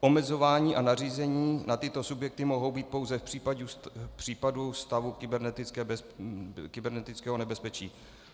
Omezování a nařízení na tyto subjekty mohou být pouze v případě stavu kybernetického nebezpečí.